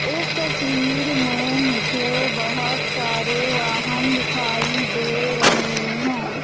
इस तस्वीर में मुझे बहोत सारे वाहन दिखाई दे रहे हैं।